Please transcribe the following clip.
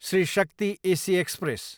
Shri Shakti AC express